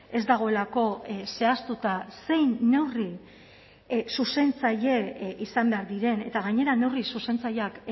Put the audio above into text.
ez dagoelako zehaztuta zein neurri zuzentzaile izan behar diren eta gainera neurri zuzentzaileak